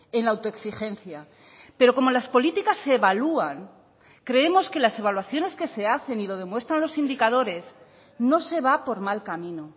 en la autoexigencia pero como las políticas se evalúan creemos que las evaluaciones que se hacen y lo demuestran los indicadores no se va por mal camino